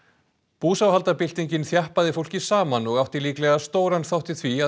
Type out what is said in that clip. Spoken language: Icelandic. búsáhaldabyltingin þjappaði fólki saman og átti líklega stóran þátt í því að